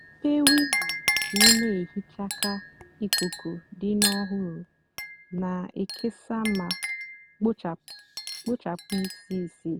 mepée windo kà ị nà-èhicha kà ikuku dị ọhụrụ nà-èkesa mà kpochapụ ísí ísì.